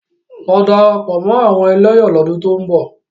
Lọ darapọ̀ mọ́ àwọn ẹlẹ́yọ̀ lọ́dún tó ń bọ̀!